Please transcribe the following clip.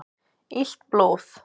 Illt blóð